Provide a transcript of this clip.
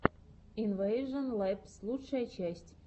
инвэйжон лэбс лучшая часть